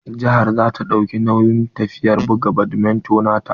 Jihar za ta dauki nauyin tafiyar buga badminto na ta.